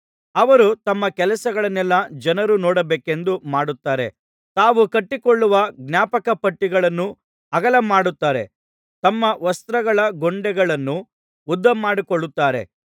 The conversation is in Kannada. ಅವರು ತಮ್ಮ ಕೆಲಸಗಳನ್ನೆಲ್ಲಾ ಜನರು ನೋಡಬೇಕೆಂದು ಮಾಡುತ್ತಾರೆ ತಾವು ಕಟ್ಟಿಕೊಳ್ಳುವ ಜ್ಞಾಪಕಪಟ್ಟಿಗಳನ್ನು ಅಗಲಮಾಡುತ್ತಾರೆ ತಮ್ಮ ವಸ್ತ್ರಗಳ ಗೊಂಡೆಗಳನ್ನು ಉದ್ದಮಾಡಿಕೊಳ್ಳುತ್ತಾರೆ